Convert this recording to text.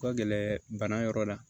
Ka gɛlɛn bana yɔrɔ la